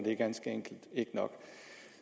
er ganske enkelt ikke nok